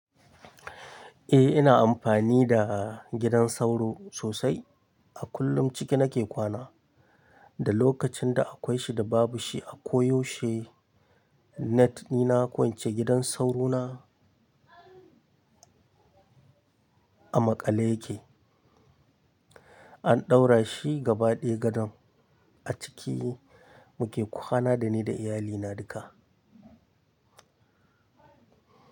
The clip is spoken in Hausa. Eh ina amfani da gidan sauro sosai. A kullum ciki nake kwana. Da lokacin da akwai shi da babu shi a koyaushe net ni na kwance gidan sauro na. A maƙale yake. An ɗaura shi gaba ɗaya gadon a ciki muke kwana da ni da iyalina duka.